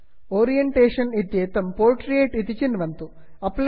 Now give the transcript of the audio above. orientation orientation इत्येतत् portrait portrait इति चिन्वन्तु